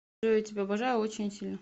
джой я тебя обожаю очень сильно